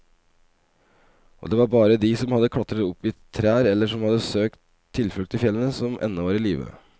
Og det var bare de som hadde klatret opp i trær eller som hadde søkt tilflukt i fjellene, som ennå var i live.